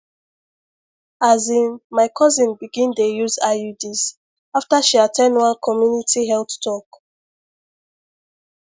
asin my cousin begin dey use iuds after she at ten d one community health talk